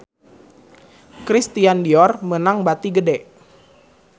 Christian Dior meunang bati gede